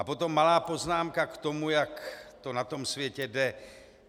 A potom malá poznámka k tomu, jak to na tom světě jde.